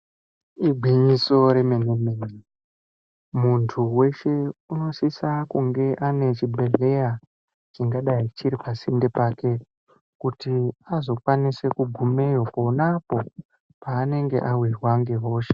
Igwinyiso remenemene munthu weshe unosise kunge ane chibhedhleya chingadai chiri pasinde pake kuti azokwanise kugumeo ponapo paanenge awirwa nehosha.